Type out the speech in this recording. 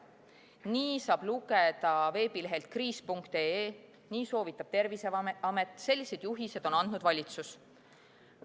Nii saab lugeda veebilehelt kriis.ee, nii soovitab Terviseamet, sellised juhised on andnud valitsus.